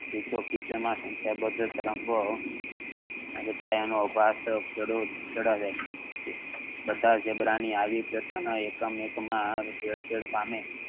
તરંગો બધા ઝીબ્રા ના આવા એકમ માં ભેળસેળ પામે